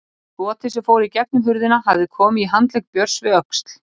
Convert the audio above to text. Skotið sem fór í gegnum hurðina hafði komið í handlegg Björns við öxl.